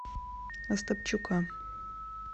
остапчука